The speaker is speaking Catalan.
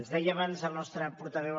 ens deia abans el nostre portaveu